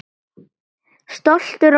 Stoltur og stór.